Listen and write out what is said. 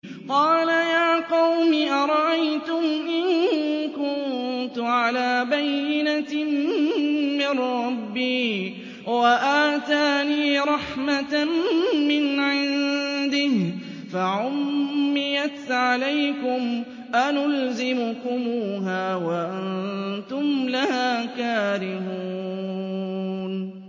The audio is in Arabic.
قَالَ يَا قَوْمِ أَرَأَيْتُمْ إِن كُنتُ عَلَىٰ بَيِّنَةٍ مِّن رَّبِّي وَآتَانِي رَحْمَةً مِّنْ عِندِهِ فَعُمِّيَتْ عَلَيْكُمْ أَنُلْزِمُكُمُوهَا وَأَنتُمْ لَهَا كَارِهُونَ